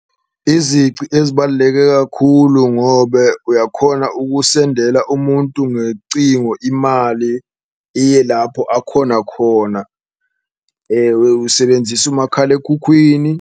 Izici ezibaluleke kakhulu ngobe uyakhona ukusendela umuntu ngecingo imali iye lapho akhona khona, usebenzisa umakhalekhukhwini.